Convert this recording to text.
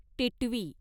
टिटवी